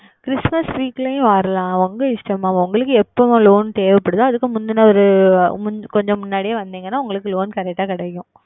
ChritmasWeek லையும் உங்கள் இஷ்டம் Mam உங்களுக்கு எப்பொழுது Loan தேவைப்படுகிறதோ அதற்கு முந்தைய அதற்கு முந்தைய கொஞ்சம் முன்னாடியே வந்தீர்கள் என்றால் உங்களுக்கு LoanCorrect ஆகா கிடைக்கும்